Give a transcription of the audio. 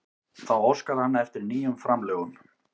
Þá óskar hann eftir nýjum framlögum